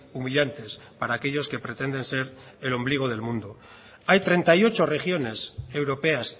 humillantes para aquellos que pretenden ser el ombligo del mundo hay treinta y ocho regiones europeas